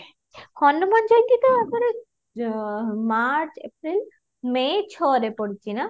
ହନୁମାନ ଜୟନ୍ତୀ ତ ଆମର march april may ଛଅ ରେ ପଡୁଛି ନା?